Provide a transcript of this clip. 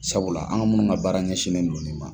Sabula an ka munnu ka baara ɲɛsinen don ni ma.